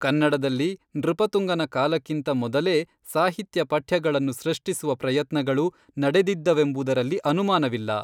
ಕನ್ನಡದಲ್ಲಿ ನೃಪತುಂಗನ ಕಾಲಕ್ಕಿಂತ ಮೊದಲೇ ಸಾಹಿತ್ಯ ಪಠ್ಯಗಳನ್ನು ಸೃಷ್ಟಿಸುವ ಪ್ರಯತ್ನಗಳು ನಡೆದಿದ್ದವೆಂಬುದರಲ್ಲಿ ಅನುಮಾನವಿಲ್ಲ.